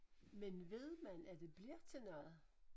Men ved man at det bliver til noget?